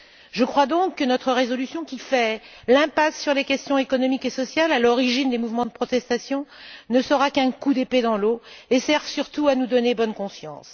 Je crois donc que notre résolution, qui fait l'impasse sur les questions économiques et sociales, à l'origine des mouvements de protestation, ne sera qu'un coup d'épée dans l'eau et sert surtout à nous donner bonne conscience.